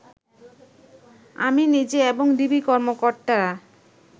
আমি নিজে এবং ডিবি কর্মকর্তারা